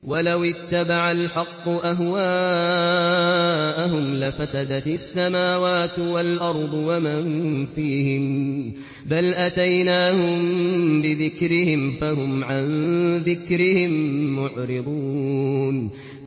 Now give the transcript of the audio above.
وَلَوِ اتَّبَعَ الْحَقُّ أَهْوَاءَهُمْ لَفَسَدَتِ السَّمَاوَاتُ وَالْأَرْضُ وَمَن فِيهِنَّ ۚ بَلْ أَتَيْنَاهُم بِذِكْرِهِمْ فَهُمْ عَن ذِكْرِهِم مُّعْرِضُونَ